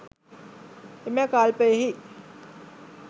එම කල්පයෙහි